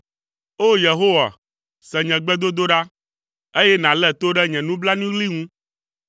O! Yehowa, se nye gbedodoɖa, eye nàlé to ɖe nye nublanuiɣli ŋu.